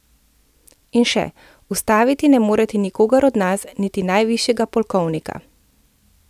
In še: 'Ustaviti ne morete nikogar do nas, niti najvišjega polkovnika.